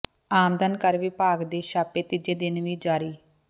ਆਮਦਨ ਕਰ ਵਿਭਾਗ ਦੇ ਛਾਪੇ ਤੀਜੇ ਦਿਨ ਵੀ ਜਾਰੀ